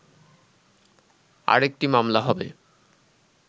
আরেকটি মামলা হবে